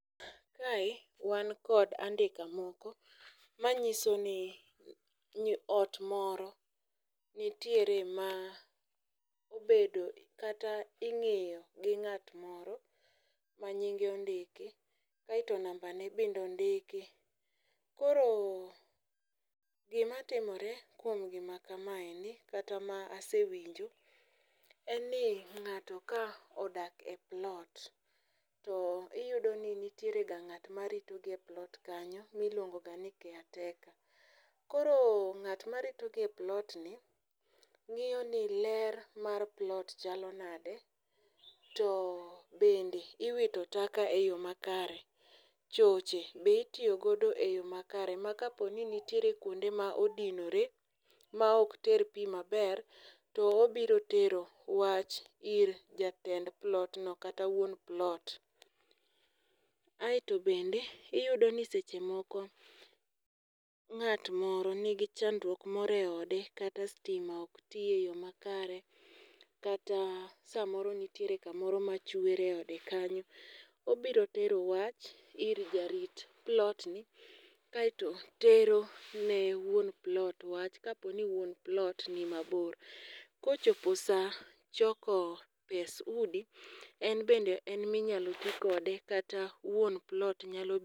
Kae, wan kod andika moko. Manyiso ni ot moro nitiere ma obedo kata ing'iyo gi ng'at moro manying'e ondiki, kaeto nambane bendo ndiki. Koro, gima timore kuom gimaka maendi, kata ma asiwinjo, en ni ng'ato ka odak e plot, to iyudo ni nitiere ga ng'at marito gi e plot kanyo miluongo gani caretaker. Koro ng'at marito gi e plot ni, ng'iyo ni ler mar plot chalo nade, to bende iwito taka e yo makare. Choche, be itiyogodo e yo makare. Ma ka po ni nitiere kuonde ma odinore ma ok ter pi maber to obiro tero wach ir jatend plot, no kata wuon plot. Aeto bende, iyudo ni sechemoko ng'at moro ni gichandruok moro e ode, kata stima ok ti e yo makare, kata samoro nitiere kamoro machuere ode kanyo. Obiro tero wach ir jarit plot ni, kaeto tero ne wuon plot wach, kapo ni wuon plot ni mabor. Kochopo sa choko pes udi, en bende en minyalo tikode, kata wuon plot nyalo.